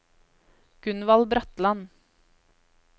Gunvald Bratland